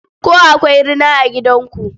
Ko akwai rina a gidanku?